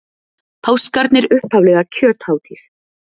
Páskarnir upphaflega kjöthátíð.